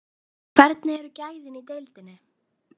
En hvernig eru gæðin í deildinni?